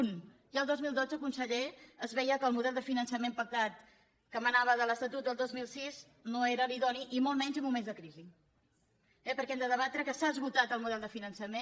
un ja el dos mil dotze conseller es veia que el model de finançament pactat que emanava de l’estatut del dos mil sis no era l’idoni i molt menys en moments de crisi eh perquè hem de debatre que s’ha esgotat el model de finançament